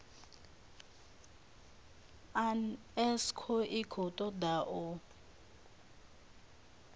unesco i khou toda u